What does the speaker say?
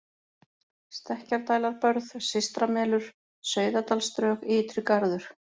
Stekkjardælarbörð, Systramelur, Sauðadalsdrög, Ytri-Garður